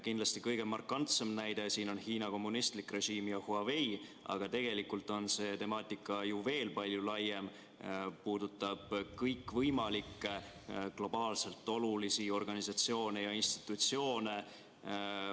Kindlasti kõige markantsem näide siin on Hiina kommunistlik režiim ja Huawei, aga tegelikult on see temaatika ju veel palju laiem, mis puudutab kõikvõimalikke globaalselt olulisi organisatsioone ja institutsioone.